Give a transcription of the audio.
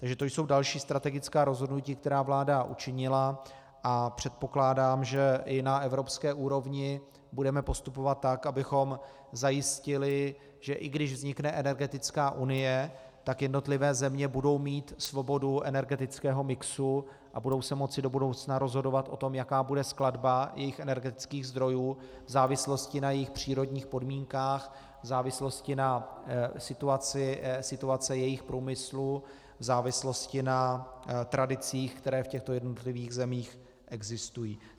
Takže to jsou další strategická rozhodnutí, která vláda učinila, a předpokládám, že i na evropské úrovni budeme postupovat tak, abychom zajistili, že i když vznikne energetická unie, tak jednotlivé země budou mít svobodu energetického mixu a budou se moci do budoucna rozhodovat o tom, jaká bude skladba jejich energetických zdrojů v závislosti na jejich přírodních podmínkách, v závislosti na situaci jejich průmyslu, v závislosti na tradicích, které v těchto jednotlivých zemích existují.